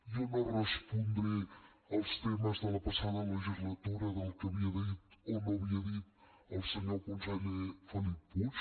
jo no respondré els temes de la passada legislatura del que havia dit o no havia dit el senyor conseller felip puig